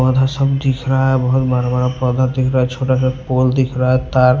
पौधा सब दिख रहा है बहुत बड़ा बड़ा पौधा दिख रहा है छोटा सा पोल दिख रहा है तार--